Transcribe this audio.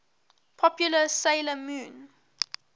popular 'sailor moon